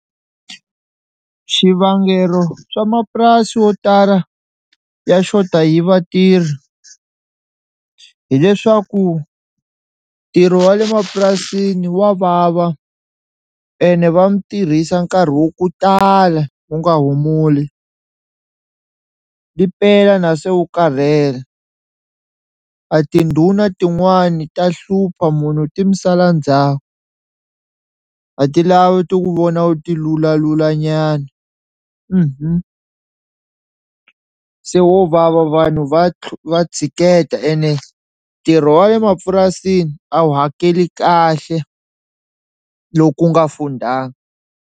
Xivangelo swa mapurasi wo tala ya xota hi vatirhi hileswaku ntirho wa le mapurasini wa vava ene va mi tirhisa nkarhi wa ku tala u nga humuli ri pela na se u karhele, a tindhuna tin'wani ta hlupha munhu ti mi sala ndzhaku a ti lavi ti wu vona wu tilulalula nyana se wo vava vanhu va va tshiketa ene ntirho wa le mapurasini a wu hakeli kahle loku u nga fundanga.